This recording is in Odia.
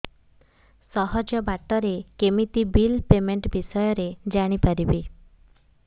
ସହଜ ବାଟ ରେ କେମିତି ବିଲ୍ ପେମେଣ୍ଟ ବିଷୟ ରେ ଜାଣି ପାରିବି